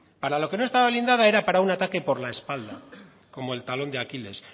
para lo que no estaba blindada era para un ataque por la espalda como el talón de aquiles